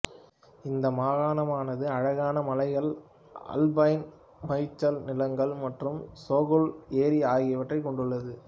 இந்த மாகாணமானது அழகான மலைகள் ஆல்பைன் மேய்ச்சல் நிலங்கள் மற்றும் சோன்குல் ஏரி ஆகியவற்றைக் கொண்டுள்ளது